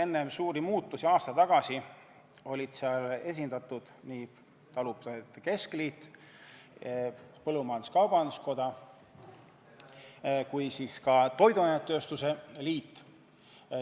Enne suuri muutusi aasta tagasi olid seal esindatud nii talupidajate keskliit, põllumajandus-kaubanduskoda kui ka toiduainetööstuse liit.